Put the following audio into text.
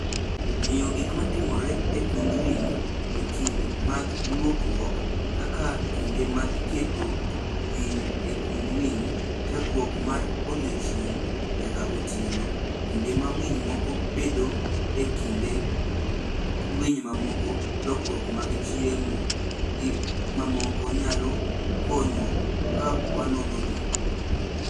Ng'eyo gik matimore e kund winy e kinde mag lokruok (kaka kinde ma iketo winy e kund winy, chakruok mar odiechieng' nyaka otieno, kinde ma winy moko bedoe e kind winy mamoko, lokruok mag chiemo, gi mamoko) nyalo konyo ka wanonogi